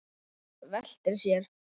Veltir sér.